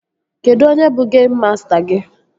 Kedụ onye bụ geim masta gị?